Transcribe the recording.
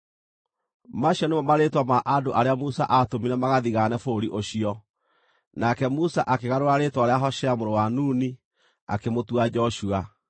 Macio nĩmo marĩĩtwa ma andũ arĩa Musa aatũmire magathigaane bũrũri ũcio. Nake Musa akĩgarũra rĩĩtwa rĩa Hoshea mũrũ wa Nuni akĩmũtua Joshua.